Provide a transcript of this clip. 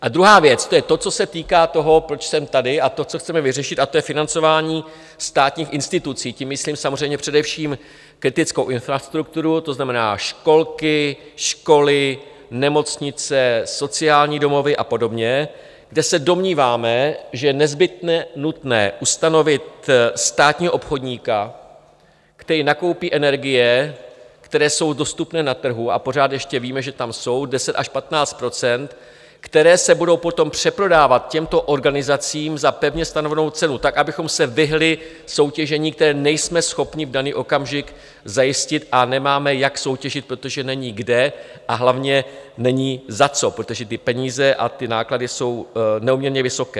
A druhá věc, to je to, co se týká toho, proč jsem tady, a to, co chceme vyřešit, a to je financování státních institucí, tím myslím samozřejmě především kritickou infrastrukturu, to znamená školky, školy, nemocnice, sociální domovy a podobně, kde se domníváme, že je nezbytně nutné ustanovit státního obchodníka, který nakoupí energie, které jsou dostupné na trhu, a pořád ještě víme, že tam jsou 10 až 15 %, které se budou potom přeprodávat těmto organizacím za pevně stanovenou cenu tak, abychom se vyhnuli soutěžení, které nejsme schopni v daný okamžik zajistit a nemáme, jak soutěžit, protože není kde a hlavně není za co, protože ty peníze a ty náklady jsou neúměrně vysoké.